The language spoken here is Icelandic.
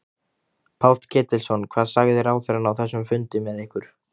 Páll Ketilsson: Hvað sagði ráðherrann á þessum fundi með ykkur?